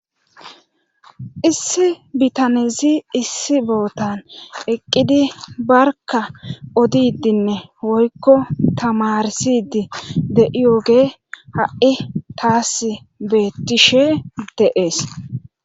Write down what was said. Issi bitanezi issi bootan eqqidi barka odidinne woykko tamarsidi de iyooge ha7i taas beettishe de7ees.